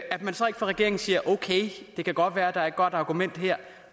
at man så ikke fra regeringens side siger okay det kan godt være der er et godt argument her